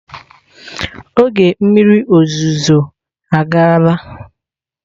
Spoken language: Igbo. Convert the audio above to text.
Oge mmiri ozuzo agaala.